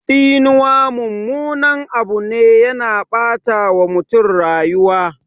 Tsinuwa mummunan Abu ne, yana ɓata wa mutum rayuwa